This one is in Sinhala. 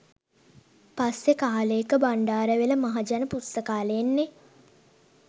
පස්සෙ කාලේක බණ්ඩාරවෙල මහජන පුස්තකාලෙන් නේ.